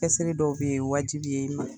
Kɛsri dɔw bɛ yen , la ye wajibi ye i ma